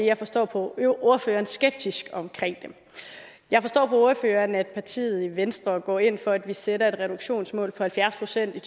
jeg forstår på ordføreren skeptisk omkring dem jeg forstår på ordføreren at partiet venstre går ind for at vi sætter et reduktionsmål på halvfjerds procent i